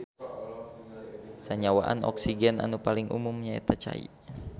Sanyawaan oksigen anu paling umum nyaeta cai.